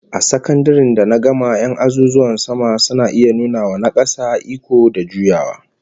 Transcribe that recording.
A sakandaren da na gama 'yan azuzuwan sama suna iya nuna wa na kasa iko da juyawa